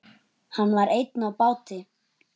Hann var einn á báti.